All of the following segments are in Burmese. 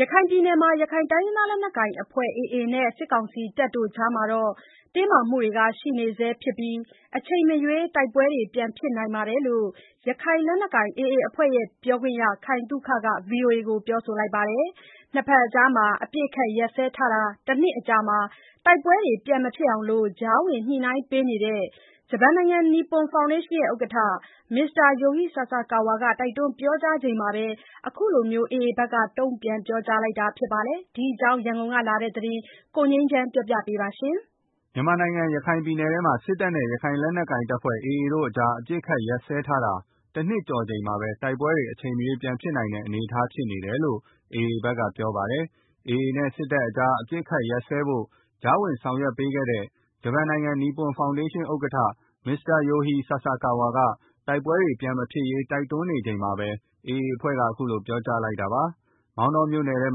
ရခိုင်ပြည်နယ်မှာ ရခိုင်လက်နက်ကိုင် AA အဖွဲ့နဲ့ စစ်ကောင်စီတပ်တို့ကြားမှာ တင်းမာနေဆဲဖြစ်ပြီး အချိန်မရွေး တိုက်ပွဲဖြစ်နိုင်တယ်လို့ ရခိုင်လက်နက်ကိုင် AA အဖွဲ့ ပြောခွင့်ရ ခိုင်သုခက ဗွီအိုအေကို ပြောပါတယ်။ ၂ ဘက်ကြား အပစ်အခတ်ရပ်စဲထားတာ ၁ နှစ် အကြာမှာ တိုက်ပွဲတွေ ပြန်မဖြစ်အောင် ကြားဝင်ညှိနှိုင်းပေးနေတဲ့ နီပွန်ဖောင်ဒေးရှင်း ဥက္ကဋ္ဌ Mr. Yohei Sasakawa ကတိုက်တွန်းပြောကြားနေချိန်မှာ ခုလို AA ဘက်ကပြောကြားလိုက်တာပါ။ ဒီအကြောင်းရန်ကုန်ကလာတဲ့သတင်းကို ကိုငြိမ်းချမ်းက တင်ပြပေးထားပါတယ်။ ရခိုင်ပြည်နယ်မှာ စစ်တပ်နဲ့ရခိုင်လက်နက်ကိုင် AA အဖွဲ့တို့ကြား အပစ်အခတ်ရပ်စဲထားတာ ၁ နှစ်ကျော်ချိန်မှာပဲ တိုက်ပွဲတွေ အချိန်မရွေးဖြစ်နိုင်တဲ့ အခြေအနေဖြစ်နေတယ် လို့ AA ဘက်ကပြောပါတယ်။ AA နဲ့ စစ်တပ်ကြား အပစ်အခတ်ရပ်စဲဖို့ ကြားဝင်ဆောင် ရွက်ပေးခဲ့တဲ့ ဂျပန်နိုင်ငံ နီပွန်ဖောင်ဒေးရှင်း ဥက္ကဋ္ဌ Mr. Yohei Sasakawa က တိုက်ပွဲတွေ ပြန်မဖြစ်ရေး ဆက်ပြီးတိုက်တွန်းနေချိန်မှာပဲ AA အဖွဲ့ဘက်က ခုလိုပြောကြားလိုက် တာဖြစ်ပါတယ်။ မောင်တောမြို့နယ်ထဲ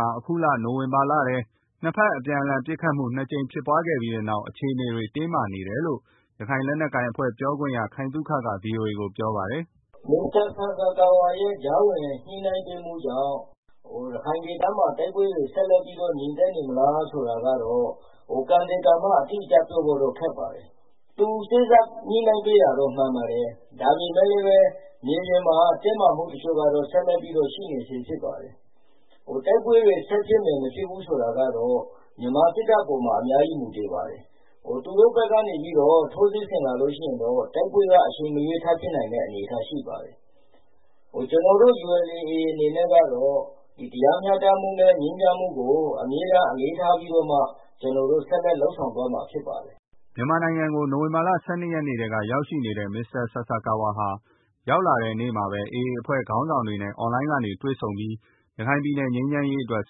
မှာ အခုနိုဝင်ဘာလထဲ ၂ ဘက်အပြန်အလှန် ပစ်ခတ်မှု ၂ ကြိမ်ဖြစ်ခဲ့ပြီးနောက် အခြေအနေတွေ တင်းမာနေတယ်လို့ ရခိုင်လက်နက်ကိုင်AA အဖွဲ့ပြောခွင့်ရ ခိုင်သုခကဗွီအိုအေကို ပြောပါတယ်။ “မစ္စတာ ဆာဆာကာဝါရဲ့ ကြားဝင်စေ့စပ်ညှိုနှိုင်းပေးမှုကြောင့် ရခိုင်ဒေသမှာ တိုက်ပွဲတွေ ငြိမ်သက်နေမလားဆိုတာကတော့ ကံသေကံမ အတိအကျ ပြောဖို့ခက်ပါတယ်။ သူ စေ့စပ် ညှိနိုင်းပေးတာတော့ မှန်ပါတယ်။ ဒါပေမယ့်လည်း မြေပြင်မှာက တင်းမာမှုတချို့ကတော့ ဆက်လက်ပြီးတော့ ရှိနေဆဲဖြစ်ပါတယ်။ တိုက်ပွဲတွေ ဆက်ဖြစ်ဖို့ မဖြစ် ဘူးဆိုတာကတော့ မြန်မာစစ်တပ်ပေါ်မှာ အများကြီးမူတည်ပါတယ်။ သူတို့ဘက်က ထိုးစစ်ဆင်လာလို့ရှိရင်တော့ တိုက်ပွဲက အချိန်မရွေးထဖြစ်နိုင်တဲ့ အနေအထားရှိပါတယ်။ ကျနော်တို့ ULA/ AA အနေနဲ့က တော့ တရားမျှတမှုနဲ့ အမြဲတမ်းအလေးထားပြီးတော့မှ ဆက်လက်လုပ်ဆောင်သွားမှာ ဖြစ်ပါတယ်။” မြန်မာနိုင်ငံကို နိုင်ဝင်ဘာလ ၁၂ နေ့ကတည်းက ရောက်ရှိနေတဲ့ Mr. Sasakawa ဟာ မြန်မာနိုင်ငံကို ရောက်လာတဲ့နေ့မှာပဲ AA အဖွဲ့ခေါင်းဆောင်တွေနဲ့ Online ကနေတွေ့ ဆုံပြီး ရခိုင်ပြည်နယ် ငြိမ်းချမ်းရေးအတွက်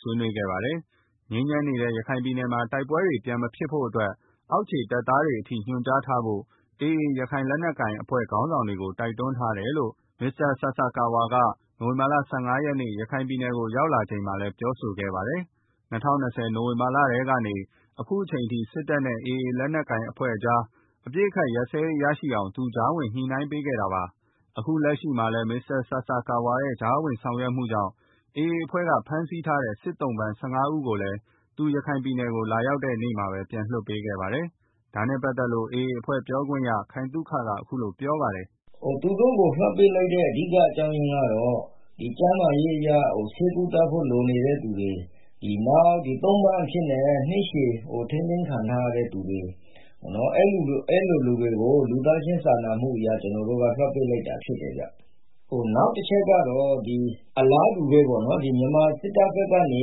ဆွေးနွေးခဲ့ကြပါတယ်။ ငြိမ်းချမ်းနေတဲ့ ရခိုင်ပြည်နယ်မှာ တိုက်ပွဲ ပြန်မဖြစ်ဖို့အတွက် အောက်ခြေတပ်သားတွေအထိ ညွန်ကြားထားဖို့ ရခိုင်လက်နက်ကိုင် AA အဖွဲ့ ခေါင်းဆောင်တွေကို တိုက်တွန်းထားတယ်လို့ Mr. Sasakawa မနေ့ နိုဝင်ဘာ ၁၅ ရက်က ရခိုင်ပြည် နယ်ရောက် လာချိန်မှာလည်း ပြောဆိုခဲ့ပါတယ်။ ၂၀၂၀ နိုဝင်ဘာလထဲကနေ အခုအထိ စစ်တပ်နဲ့ AA ကြား အပစ်အခတ်ရပ်စဲရေးရရှိအောင် သူက ကြားဝင် ညှိနှိုင်းပေးခဲ့တာဖြစ်ပါတယ်။အခုလက်ရှိ မှာလည်း Mr. Sasakawa ရဲ့ကြားဝင်ဆောင်ရွက်မှုကြောင့်AA အဖွဲ့ဘက်က ဖမ်းဆီးထားတဲ့ စစ်သုံ့ပန်း ၁၅ ဦးကိုလည်း သူ ရခိုင်ပြည်နယ်ကို လာရောက်တဲ့နေ့မှာ ပြန်လွှတ်ပေးခဲ့ပါတယ်။ ဒါနဲ့ပတ်သက်လို့ AA အဖွဲ့ ပြောခွင့်ရ ခိုင်သုခက ခုလို ပြောပါတယ်။ “သူတို့ကို လွှတ်ပေးလိုက်ရတဲ့ အဓိက အကြောင်းအရင်းကတော့ ကျန်းမာရေးအရ ဆေးကုသဖို့လိုနေတဲ့သူတွေ၊ နောက် သုံ့ပန်းအဖြစ်နဲ့ နှစ်ရှည် ထိန်းသိမ်းခံထားရသူတွေ အဲလို လူတွေကို လူသားချင်းစာနာမှုအရ ကျနော်တို့ က လွတ်ပေးလိုက်တာဖြစ်ပါတယ်ဗျာ။ နောက်တချက်ကတော့ အလားတူပဲပေါ့နော်။ မြန်မာစစ်တပ်ဘက်ကနေ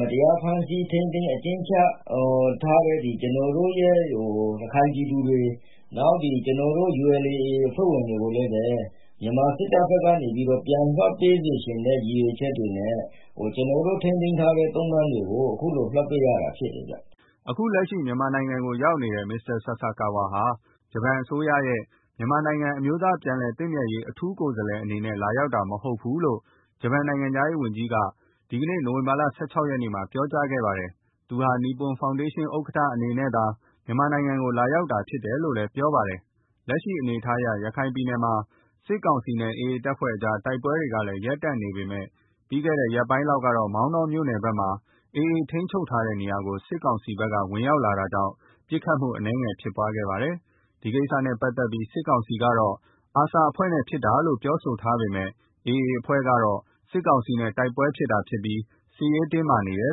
မတရားဖမ်းဆီး ထိန်းသိမ်း အကျဉ်းချထားတဲ့ ကျနော်တို့ ရခိုင်ပြည်သူတွေ၊ နောက် ကျနော်တို့ရဲ့ ULA /AA အဖွဲ့ဝင်တွေကို မြန်မာစစ်တပ်ဘက်က ပြန်လွတ်ပေးစေချင်တဲ့ ရည်ရွယ်ချက်တွေနဲ့ ကျနော်တို့ ထိန်းသိမ်းထားတဲ့ သုံ့ပန်းတွေကို အခုလို လွှတ်ပေးရတာ ဖြစ်တယ်ဗျာ။” အခုလက်ရှိမြန်မာနိုင်ငံကို ရောက်ရှိနေတဲ့ Yohei Sasakawa ဟာ ဂျပန်အစိုးရရဲ့ မြန် မာနိုင်ငံ အမျိုးသားပြန်လည်သင့်မြတ်ရေး အထူးကိုယ်စားလှယ်အနေနဲ့ လာရောက်တာမဟုတ်ဘူးလို့ ဂျပန် သံနိုင်ငံခြားရေးဝန်ကြီးက Yoshimasa Hayashi က ဒီနေ့နိုဝင်ဘာ ၁၆ ရက်မှာ ပြောကြားခဲ့ပါတယ်။ သူဟာ နီပွန်ဖောင်ဒေးရှင်းဥက္ကဋ္ဌအနေနဲ့ မြန်မာနိုင်ငံကို လာရောက်တာဖြစ်တယ်လို့ ပြောပါတယ်။ လက်ရှိအနေအထားအရ ရခိုင်ပြည်မှာ စစ်ကောင်စီနဲ့ AA အဖွဲ့ကြား တိုက်ပွဲတွေ ရပ်တံ့နေပေမယ့် ပြီးခဲ့တဲ့ ရက်ပိုင်းကတော့ မောင်တောမြို့နယ်ဘက်က AA ထိန်းချုပ် ထားတဲ့ နေရာကို စစ်ကောင်စီဘက်က ဝင်ရောက်လာတာကြောင့် ပစ်ခတ်မှု အနည်းငယ်ဖြစ်ပွားခဲ့ပါတယ်။ ဒီကိစ္စနဲ့ ပတ်သက်ပြီး စစ်ကောင်စီဘက်ကတော့ ARSA အဖွဲ့နဲ့ ဖြစ်တာလို့ ပြောဆိုထားပေမယ့် AA ဘက်ကတော့ စစ်ကောင်စီနဲ့ တိုက်ပွဲ ဖြစ်တာဖြစ်ပြီး စစ်ရေးတင်းမာနေတယ်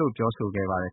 လို့ ပြောဆိုခဲ့ပါတယ်